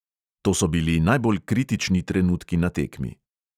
To so bili najbolj kritični trenutki na tekmi.